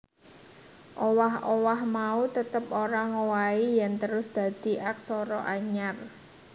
Owah owah mau tetep ora ngowahi yèn terus dadi aksara anyar